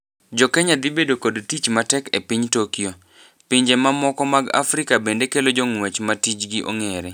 Jokenya dhibedo kod tich matek e piny Tokyo. Pinje mamoko mag Afrika bende kelo jongwech ma tijgi ongere.